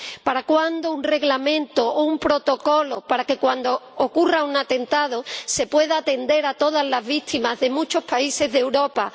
¿Para cuándo un Reglamento o un Protocolo para que cuando ocurra un atentado se pueda atender a todas las víctimas de muchos países de Europa?